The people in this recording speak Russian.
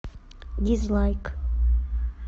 дизлайк